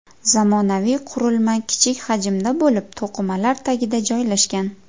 Zamonaviy qurilma kichik hajmda bo‘lib, to‘qimalar tagida joylashgan.